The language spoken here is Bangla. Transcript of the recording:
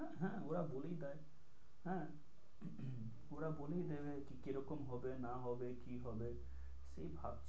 হ্যাঁ ওরা বলেই দেয়, হ্যাঁ ওরা বলেই দেবে কি রকম হবে না হবে কি হবে সেই ভাবনা।